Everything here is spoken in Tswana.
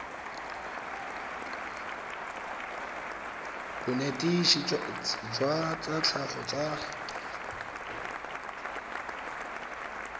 bonetetshi jwa tsa tlhago tsa